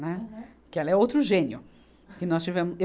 Né. Porque ela é outro gênio. Que nós tivemos eu